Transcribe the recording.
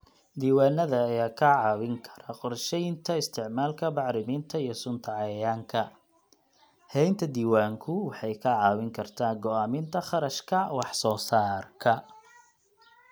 Diiwaanada ayaa kaa caawin kara qorsheynta isticmaalka bacriminta iyo sunta cayayaanka. Haynta diiwaanku waxay kaa caawin kartaa go'aaminta kharashka wax soo saarka.